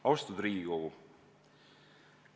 Austatud Riigikogu!